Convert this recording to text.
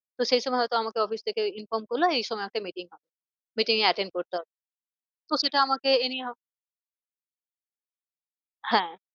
তো সেই সময় হয়তো আমাকে office থেকে inform করলো এই সময় একটা meeting হবে। meeting এ attend করতে হবে। তো সেটা আমাকে anyhow হ্যাঁ